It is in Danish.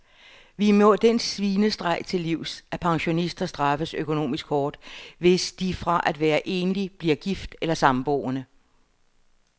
Vi må den svinestreg til livs, at pensionister straffes økonomisk hårdt, hvis de fra at være enlig bliver gift eller samboende.